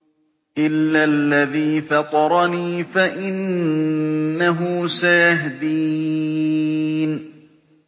إِلَّا الَّذِي فَطَرَنِي فَإِنَّهُ سَيَهْدِينِ